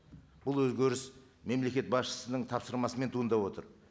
бұл өзгеріс мемлекет басшысының тапсырмасымен туындап отыр